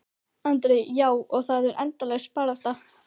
Andri: Já, og þetta er endalaus barátta?